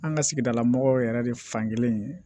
An ka sigidala mɔgɔw yɛrɛ de fankelen ye